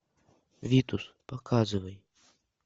витус показывай